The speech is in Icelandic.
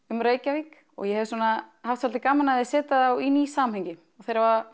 um Reykjavík og ég hef svona haft svolítið gaman af að setja þá í ný samhengi þeir hafa